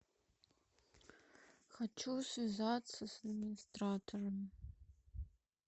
хочу связаться с администратором